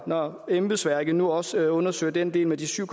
når embedsværket nu også undersøger den del med de syv